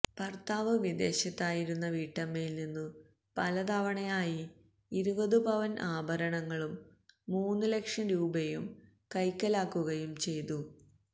ഭർത്താവ് വിദേശത്തായിരുന്ന വീട്ടമ്മയിൽനിന്നു പല തവണയായി ഇരുപത് പവൻ ആഭരണങ്ങളും മൂന്നുലക്ഷം രൂപയും കൈക്കലാക്കുകയും ചെയ്തു